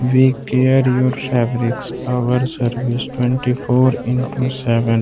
Our service twenty four into seven.